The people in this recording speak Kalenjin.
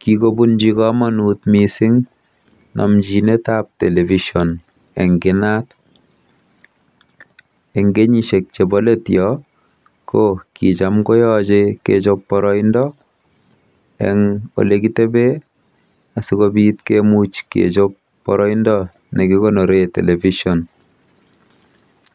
Kikobunji komonut namjinetab television eng inat. Eng kenyisiek chebo let yoo ko kijam koyojei kechob boroindo eng olekitebee asikobit kemuch kechop boroindo nekikonoree television.